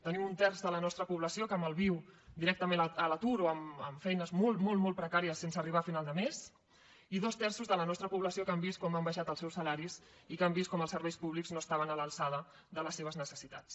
tenim un terç de la nostra població que malviu directament a l’atur o amb feines molt molt molt precàries sense arribar a final de mes i dos terços de la nostra població que han vist com han baixat els seus salaris i que han vist com els serveis públics no estaven a l’alçada de les seves necessitats